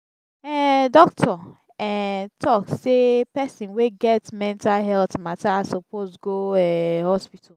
um doctor um talk sey pesin wey get mental healt mata suppose go um hospital.